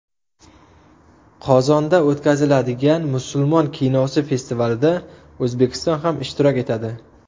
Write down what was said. Qozonda o‘tkaziladigan Musulmon kinosi festivalida O‘zbekiston ham ishtirok etadi.